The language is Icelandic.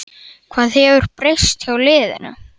Hvað hefur breyst hjá liðinu?